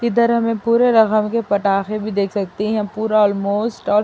ادھر ہمیں پورے کے پٹاخے بھی دیکھ سکتے ہے۔ یہا پورا الموسٹ --